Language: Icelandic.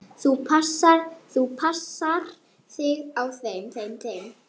Þú passar þig á þeim.